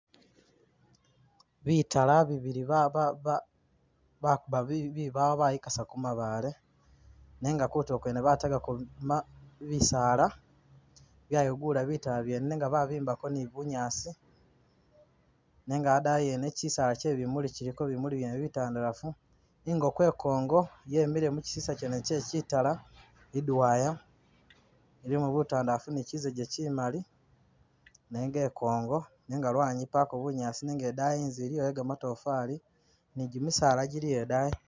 Bitala bibili ba ba bakuba bi bibawo bayikasaku mabaale, nenga kutuulo kwene batega ko ma bisaala, byeyi'gula bitala byene, nenga babimbako ni bunyaasi, nenga a'daayi ene chisaala che'bimuli chiliko bimuli byene bitandalafu, i'nkoko e'nkongo yemile muchisisa chene che chitala, i'dwaya, ilimo butandalafu ni chisege chimali nenga e'nkongo nenga lwanyi mpako bunyaasi nenga e'daayi i'nzu iliyo yo gamatofali ni gimisaala giliyo e'daayi